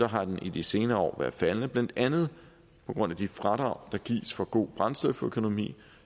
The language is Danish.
har den i de senere år været faldende blandt andet på grund af de fradrag der gives for god brændstoføkonomi